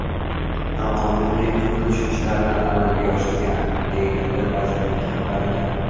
Noqonuniy qurilish ishlarini amalga oshirgan”, deyiladi vazirlik xabarida.